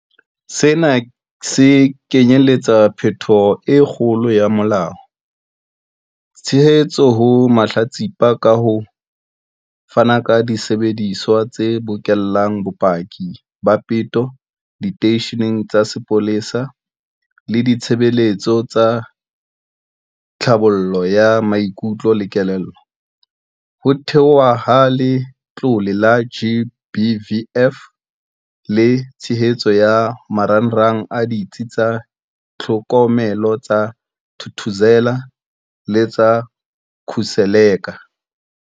Sena se kenyeletsa phetholo e kgolo ya molao, tshehetso ho mahlatsipa ka ho fana ka disebediswa tse bokellang bopaki ba peto diteisheneng tsa sepolesa le ditshebeletso tsa tlhabollo ya maikutlo le kelello, ho theohwa ha Letlole la GBVF le tshehetso ya marangrang a Ditsi tsa Tlhokomelo tsa Thuthuzela le tsa Khuseleka.